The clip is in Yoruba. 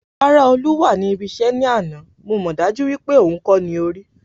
Rárá Olú wá ní ibi iṣẹ́ ní àná, mo mọ dájú wípé òhun kó ní orí